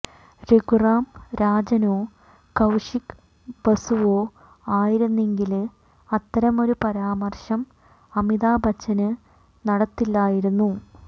രഘുറാം രാജനോ കൌശിക് ബസുവോ ആയിരുന്നെങ്കില് അത്തരമൊരു പരാമര്ശം അമിതാഭ് ബച്ചന് നടത്തില്ലായിരുന്നു